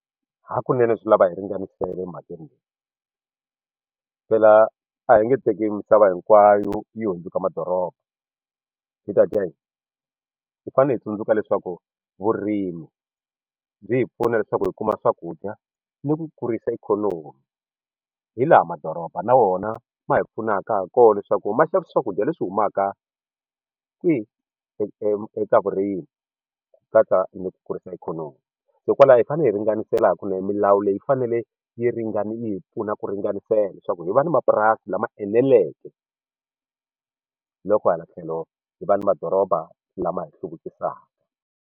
Hakunene swi lava hi ringanisela emhakeni leyi phela a hi nge teki misava hinkwayo yi hundzuka madoroba hi ta dya yini hi fanele hi tsundzuka leswaku vurimi byi hi pfuna leswaku hi kuma swakudya ni ku kurisa ikhonomi hi laha madoroba na wona ma hi pfunaka ha kona leswaku ma xavisa swakudya leswi humaka kwihi eka vurimi ku katsa ni ku kurisa ikhonomi hikokwalaho hi fanele hi ringanisela ha kunene milawu leyi yi fanele yi ringana yi hi pfuna ku ringanisela leswaku hi va na mapurasi lama eneleke loko hala tlhelo hi va na doroba lama hi hluvukisava.